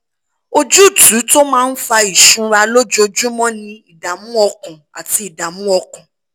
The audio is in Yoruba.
ojútùú tó máa ń fa ìsunra lójoojúmọ́ ni ìdààmú ọkàn àti ìdààmú ọkàn